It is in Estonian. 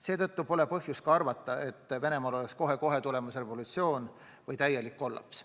Seetõttu pole põhjust arvata, et Venemaal on kohe-kohe tulemas revolutsioon või täielik kollaps.